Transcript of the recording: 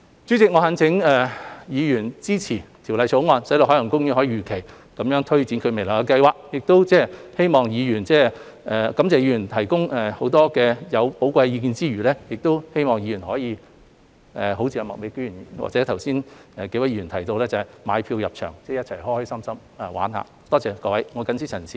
主席，我懇請議員支持《條例草案》，使海洋公園公司能如期推展未來的計劃，在感謝議員提供許多寶貴意見之餘，也希望各位議員能像麥美娟議員或剛才幾位議員提到，會購票入場，高高興興地在公園暢遊。